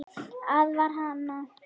Aðvarar hana.